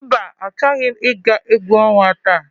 Mba achọghị m ị ga egwu ọnwa taa.